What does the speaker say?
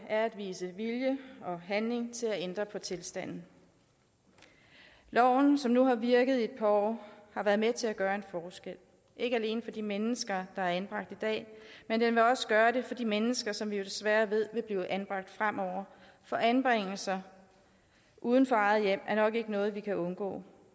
er at vise vilje og handling til at ændre på tilstanden loven som nu har virket et par år har været med til at gøre en forskel ikke alene for de mennesker der er anbragt i dag men den vil også gøre det for de mennesker som vi jo desværre ved vil blive anbragt fremover for anbringelse uden for eget hjem er nok ikke noget vi kan undgå